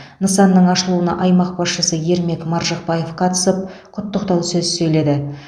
нысанның ашылуына аймақ басшысы ермек маржықпаев қатысып құттықтау сөз сөйледі